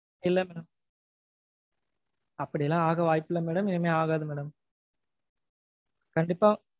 இல்ல madam அப்படியெல்லாம் ஆக வாய்ப்பில்ல madam, இனிமேல் ஆகாது madam கண்டிப்பா.